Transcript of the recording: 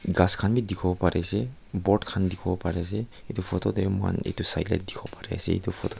ghas khan bi dikhiwo parease board khan dikhiwo pariase edu photo tae mohan edu Sai la dikhiwo parease edu photo --